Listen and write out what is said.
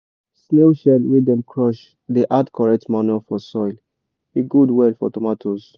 snail shell wey dem crush dey add correct manure for soil e good well for tomatoes.